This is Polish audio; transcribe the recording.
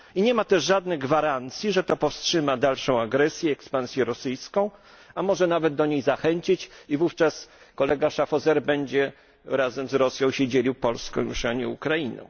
I nie ma też żadnych gwarancji, że to powstrzyma dalszą agresję i ekspansję rosyjską, a może nawet do niej zachęcić i wówczas kolega Schaffhauser będzie razem z Rosją się dzielił Polską już, a nie Ukrainą.